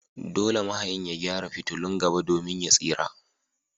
Dole mahayin ya gyara fitulun gaba domin ya tsira.